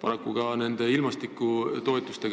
Paraku saime meie ka ilmastikutoetusi